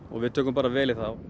við tökum bara vel í það